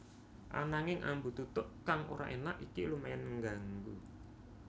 Ananging ambu tutuk kang ora énak iki lumayan ngganggu